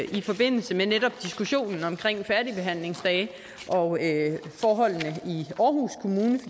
i forbindelse med netop diskussionen om færdigbehandlingsdage og forholdene i aarhus kommune